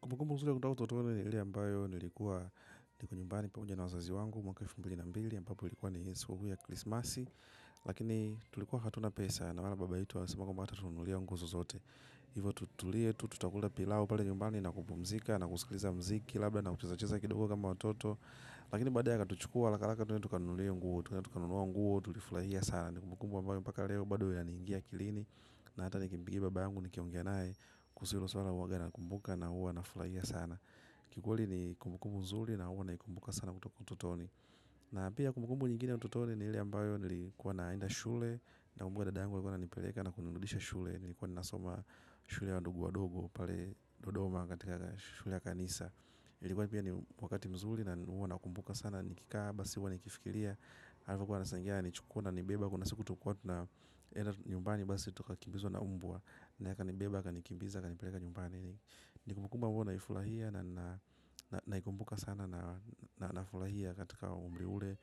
Kumbukumbu nzuri ya kutoka utotoni ni ile ambayo nilikuwa niko nyumbani pamoja na wazazi wangu mwaka elfu mbili na mbili ambapo ilikuwa ni sikukuu ya krismasi. Lakini tulikuwa hatuna pesa na wala baba yetu asema kwamba hatatunulia nguzo zote. Hivo tutulie tutakula pilau pale nyumbani na kupumzika na kusikiliza mziki labda na kuchezacheza kidogo kama watoto. Lakini baadaye akatuchukua alakalaka tuende tukanuliwe nguo, tukaenda tukanua nguo, tulifulahia sana ni kumbukumbu ambayo mpaka leo bado ya ni ingia akilini na hata ni kimbigi baba angu ni kiongea naye kusilo sula waga na kumbuka na uwa na fulahia sana kikweli ni kumbukumbu mzuli na uwa na kumbuka sana kutoka utotoni na pia kumbumbu ingine ya utotoni ile ambye nilikuwa naenda shuleni nakumbuka dada yangu alikuwa ananipeleka na kunirudisha shule nilikuwa nasoma shule ya ndugu wa dogo pale dodoma katika shule ya kanisa ilikuwa ni pia ni wakati mzuli na uwa na kumbuka sana nikikaba, siwa nikifikilia Arifu kwa nasangea ni chukua na nibeba. Kuna siku tukua na nyumbani basi tukakibizo na umbua. Na yaka nibeba, kanikibiza, kanipeleka nyumbani. Nikumukumba mbayo naifulahia. Na ikumbuka sana. Na naifulahia katika umbri ule.